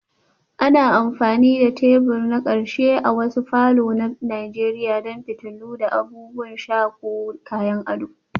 Ana amfani da tebur na ƙarshe a wasu falor na nigeria don fitilu, abubuwan sha ko kayan ado